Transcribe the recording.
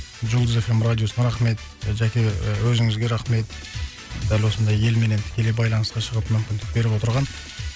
жұлдыз эф эм радиосына рахмет жәке і өзіңізге рахмет дәл осындай елменен тікелей байланысқа шығып мүмкіндік беріп отырған